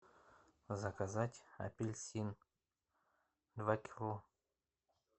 заказать апельсин два кило